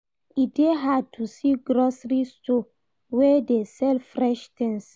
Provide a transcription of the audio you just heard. E dey hard to see grocery store wey dey sell fresh tins.